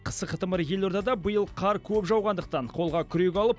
қысы қытымыр елордада биыл қар көп жауғандықтан қолға күрек алып